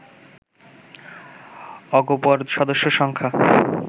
অগপর সদস্য সংখ্যা